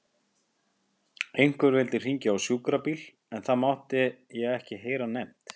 Einhver vildi hringja á sjúkrabíl en það mátti ég ekki heyra nefnt.